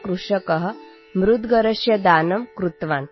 M 'एकभारतं श्रेष्ठभारतम्' |